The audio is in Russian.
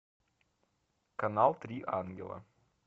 канал три ангела